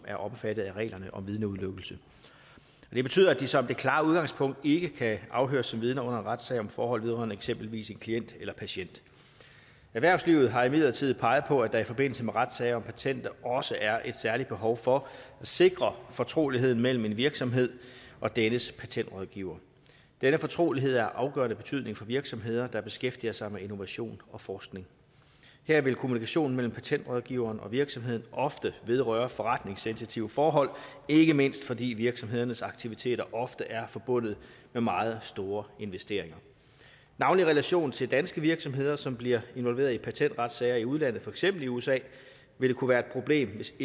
er omfattet af reglerne om vidneudelukkelse det betyder at de som det klare udgangspunkt ikke kan afhøres som vidner under en retssag om forhold vedrørende eksempelvis en klient eller patient erhvervslivet har imidlertid peget på at der i forbindelse med retssager om patenter også er et særligt behov for at sikre fortroligheden mellem en virksomhed og dennes patentrådgiver denne fortrolighed er af afgørende betydning for virksomheder der beskæftiger sig med innovation og forskning her vil kommunikationen mellem patentrådgiveren og virksomheden ofte vedrøre forretningssensitive forhold ikke mindst fordi virksomhedernes aktiviteter ofte er forbundet med meget store investeringer navnlig i relation til danske virksomheder som bliver involveret i patentretssager i udlandet for eksempel i usa vil det kunne være et problem hvis